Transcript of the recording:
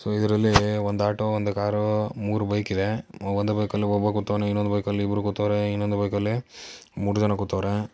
So ಇದ್ರಲ್ಲೀ ಒಂದ್ auto ಒಂದ್ ಕಾರೂ ಮೂರು ಬೈಕಿದೇ ಒಂದು ಬೈಕಲ್ಲಿ ಒಬ್ಬ ಕೂತಾವ್ನೆ ಇನ್ನೊಂದ್ ಬೈಕಲ್ಲಿ ಇಬ್ಬ್ರು ಕೂತಾವ್ರೆ ಇನ್ನೊಂದು ಬೈಕಲ್ಲಿ ಮೂರ್ ಜನ ಕೂತಾವ್ರೆ.